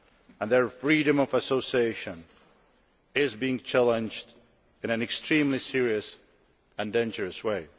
and their freedom of association, is being challenged in an extremely serious and dangerous way.